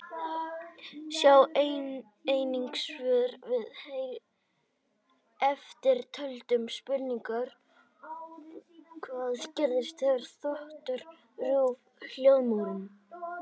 Sjá einnig svör við eftirtöldum spurningum: Hvað gerist þegar þotur rjúfa hljóðmúrinn?